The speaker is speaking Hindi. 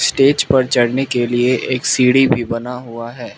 स्टेज पर चढ़ने के लिए एक सीढी भी बना हुआ है।